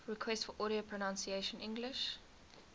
requests for audio pronunciation english